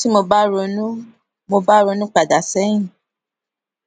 tí mo bá ronú mo bá ronú pa dà séyìn